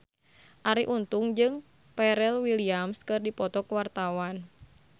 Arie Untung jeung Pharrell Williams keur dipoto ku wartawan